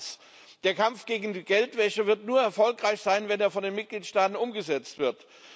Zweitens Der Kampf gegen die Geldwäsche wird nur erfolgreich sein, wenn er von den Mitgliedstaaten umgesetzt wird.